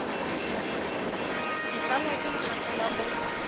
ke tlalwa ke mokgathala o